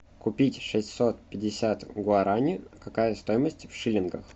купить шестьсот пятьдесят гуарани какая стоимость в шиллингах